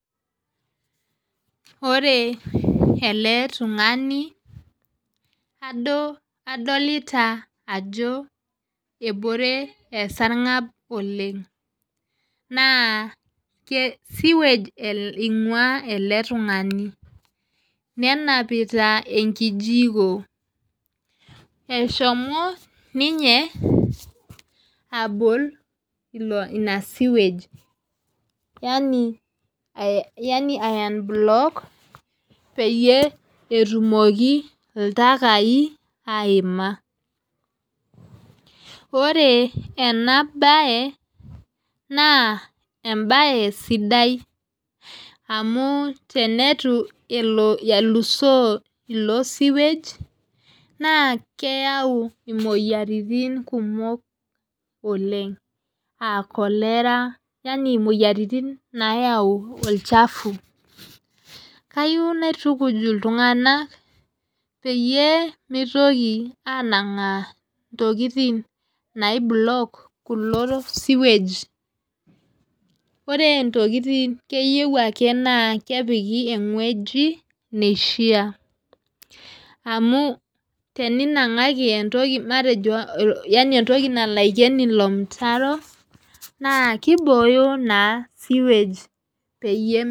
Ore ele tung'ani adolita ajo ebore esargab oleng naa sewage ingua ele tung'ani nenapita ekijiko eshomo ninye abol ina sewage yaaani aiunblock peyie etumoki iltakai aiima ore ena bae naa ebae sidai amu teneitu elo elusoo ilo sewage naa keyau imoyiaritin kumok oleng aah cholera yaani imoyiaritin nayau olchafu kayieu naitukuj iltunganak peyie mitoki anangaa intokitin nai block kulo sewage ore intokitin keyieu ake naa kepiki ewueji nishaa amu teninangaki etoki matejo entoki nalo aiken ilo mutaro naa kibooyo naa sewage peyie.